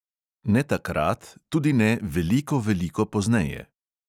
Ne takrat, tudi ne veliko veliko pozneje.